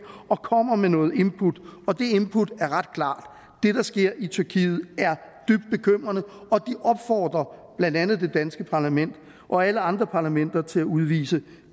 og kommer med noget input og det input er ret klart det der sker i tyrkiet er dybt bekymrende og de opfordrer blandt andet det danske parlament og alle andre parlamenter til at udvise